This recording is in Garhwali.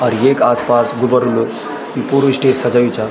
और येक आस-पास गुबारूल पुरू स्टेज सजायुं चा।